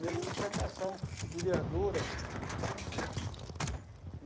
Mexo com plantação de verdura.